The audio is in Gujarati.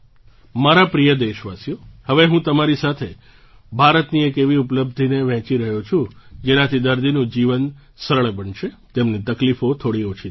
મારા પ્રિય દેશવાસીઓ હવે હું તમારી સાથે ભારતની એક એવી ઉપલબ્ધિને વહેંચી રહ્યો છું જેનાથી દર્દીનું જીવન સરળ બનશે તેમની તકલીફો થોડી ઓછી થશે